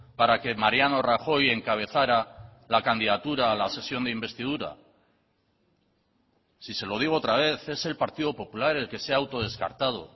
para que mariano rajoy encabezara la candidatura a la sesión de investidura si se lo digo otra vez es el partido popular el que se ha autodescartado